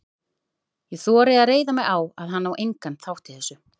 Ég þori að reiða mig á, að hann á engan þátt í þessu.